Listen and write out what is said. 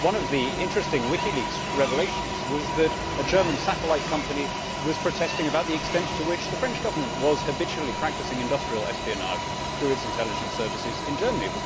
One of the interesting WikiLeaks revelations was that a German satellite company was protesting about the extent to which the French Government habitually practised industrial espionage through its intelligence services in Germany.